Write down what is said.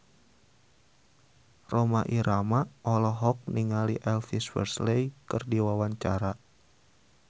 Rhoma Irama olohok ningali Elvis Presley keur diwawancara